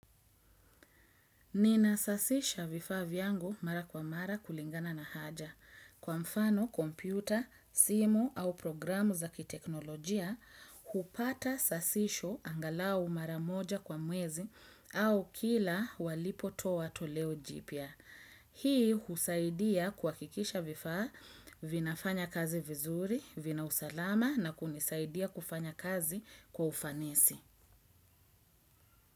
Ninasasisha vifaa vyangu mara kwa mara kulingana na haja. Kwa mfano kompyuta, simu au programu za kiteknolojia, hupata sasisho angalau mara moja kwa mwezi au kila walipotoa toleo jipya. Hii husaidia kuhakikisha vifaa vinafanya kazi vizuri, vina usalama na kunisaidia kufanya kazi kwa ufanisi.